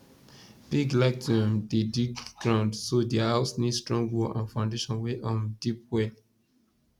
pig like to um dey dig ground so their house need strong wall and foundation wey um deep well